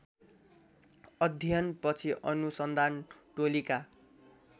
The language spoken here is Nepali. अध्ययनपछि अनुसन्धान टोलीका